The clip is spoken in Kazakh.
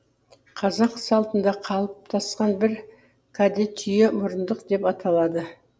қазақ салтында қалыптасқан бір каде түйе мұрындық деп аталады